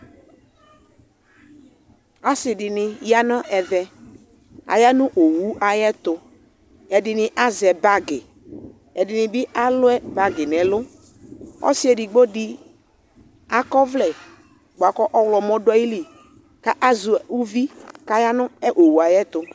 Asi di ya nʋ ɛvɛ Aya nʋ owu ayɛtʋ Ɛdi ni azɛ bagi, ɛdi ni bi alʋ bagi n'ɛlʋ Ɔsi edigbo di akɔ ɔvlɛ boa kʋ ɔwlɔmɔ dʋ ayili kʋ azɛ uvi kʋ aya nʋ owu yɛ ayɛtʋ